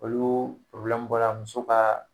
Olu bɔra muso ka